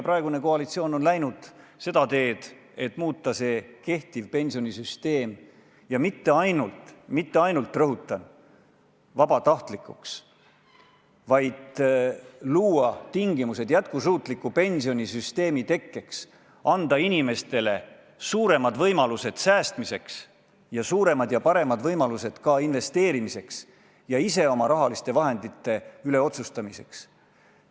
Praegune koalitsioon on läinud seda teed, et soovib mitte ainult – mitte ainult, rõhutan – pensionisüsteemi vabatahtlikuks muuta, vaid ka luua tingimused jätkusuutliku pensionisüsteemi tekkeks, anda inimestele suuremad võimalused säästmiseks ja ka investeerimiseks, ise oma raha üle otsustamiseks.